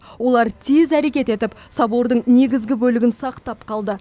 олар тез әрекет етіп собордың негізгі бөлігін сақтап қалды